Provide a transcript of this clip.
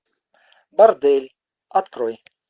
бордель открой